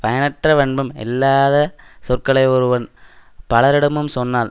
பயனற்ற பண்பும் இல்லாத சொற்களை ஒருவன் பலரிடமும் சொன்னால்